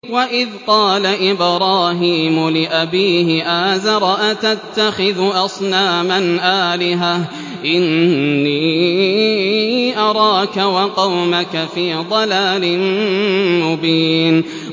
۞ وَإِذْ قَالَ إِبْرَاهِيمُ لِأَبِيهِ آزَرَ أَتَتَّخِذُ أَصْنَامًا آلِهَةً ۖ إِنِّي أَرَاكَ وَقَوْمَكَ فِي ضَلَالٍ مُّبِينٍ